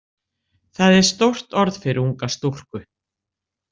Það er stórt orð fyrir unga stúlku.